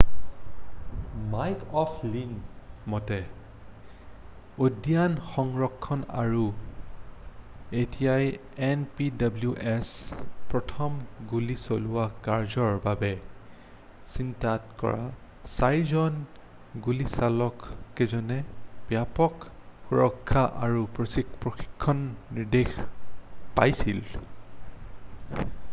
Mike অʼ ফ্লীনৰ মতে উদ্যান সংৰক্ষণ আৰু ঐতিহ্যই এন.পি.ডব্লিউ.এছ. প্ৰথম গুলী চলোৱা কাৰ্যৰ বাবে চিনাক্ত কৰা ৪ জন গুলিচালককেইজনে ব্যাপক সুৰক্ষা আৰু প্ৰশিক্ষণৰ নিৰ্দেশ পাইছিল।